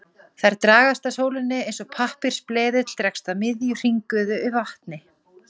Þær dragast að sólinni eins og pappírsbleðill dregst að miðju hringiðu í vatni.